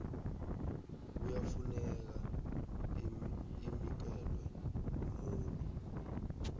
kuyafuneka inikelwe umuntu